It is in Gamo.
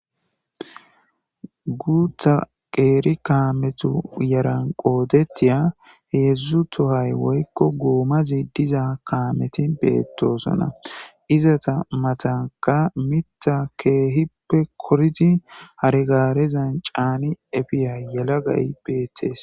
Guththa qiiri kameththo yaran qoodetiya heedzdzu tohay woykko goomazi diza kaameti beetosona. izata matankka miiththa keehippe koridi hare gaarezan caani efiya yelagay beetees.